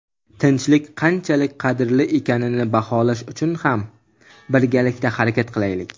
tinchlik qanchalik qadrli ekanini baholash uchun birgalikda harakat qilaylik.